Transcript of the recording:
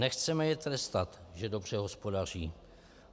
Nechceme je trestat, že dobře hospodaří.